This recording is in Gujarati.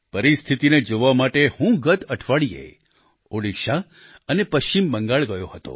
પરિસ્થિતીને જોવા માટે હું ગત અઠવાડિયે ઓડિશા અને પશ્ચિમ બંગાળ ગયો હતો